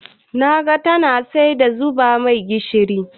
Da naga tana sai na zuba mai gishiri.